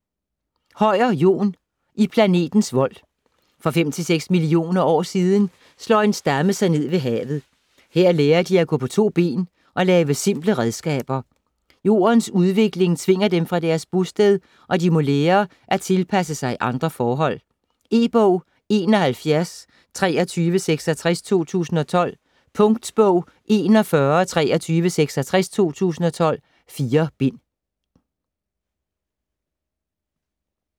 Høyer, Jon: I planetens vold For 5-6 millioner år siden slår en stamme sig ned ved havet. Her lærer de at gå på to ben og lave simple redskaber. Jordens udvikling tvinger dem fra deres bosted, og de må lære at tilpasse sig andre forhold. E-bog 712366 2012. Punktbog 412366 2012. 4 bind.